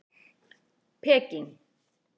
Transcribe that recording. Peking